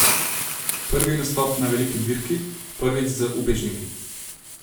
Prvi nastop na veliki dirki, prvič z ubežniki.